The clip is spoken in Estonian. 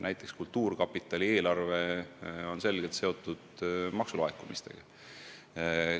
Näiteks kultuurkapitali eelarve on selgelt seotud maksulaekumistega.